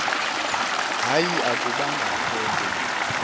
hayi akubangakho mpendulo